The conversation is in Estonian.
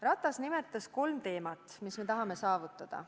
Ratas nimetas kolm teemat, mida me tahame saavutada.